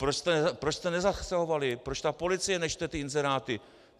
Proč jste nezasahovali, proč ta policie nečte ty inzeráty?